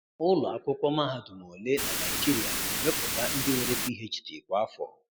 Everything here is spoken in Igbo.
Ụlọ akwụkwọ mahadum ole na Naịjirịa na emeputa ndị nwere PhD kwa afọ?